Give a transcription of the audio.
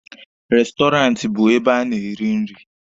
Restọraantị bụ ebe a na-eri nri.